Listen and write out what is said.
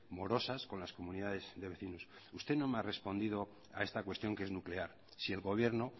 morosas con las comunidades de vecinos usted no me ha respondido a esta cuestión que es nuclear si el gobierno